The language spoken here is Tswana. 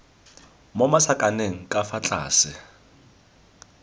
mo masakaneng ka fa tlase